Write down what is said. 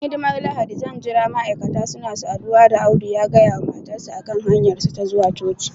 bayan hidimar Lahadi zan jira ma'aikata suna saduwa da Audu ya gaya wa matarsa ​​a kan hanyarsu ta zuwa coci